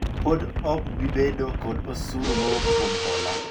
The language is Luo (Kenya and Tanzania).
pok ob bi bedo kod osuru mowuok kuom hola